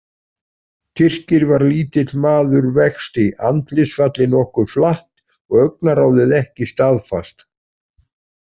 Tyrkir var lítill maður vexti, andlitsfallið nokkuð flatt og augnaráðið ekki staðfast.